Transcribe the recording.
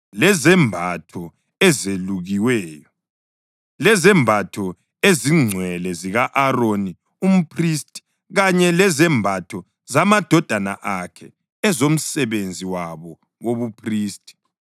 lezembatho ezelukiweyo, lezembatho ezingcwele zika-Aroni umphristi kanye lezembatho zamadodana akhe ezomsebenzi wabo wobuphristi,